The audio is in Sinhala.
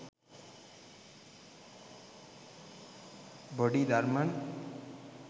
bodi dharman